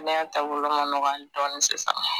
Neyan taabolo ma nɔgɔn ali dɔɔnin sisan